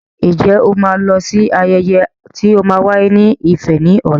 Ǹjẹ́ o ma lọ sí ayẹyẹ tí o ma wáyé ní Ifẹ̀ ní ọ̀la?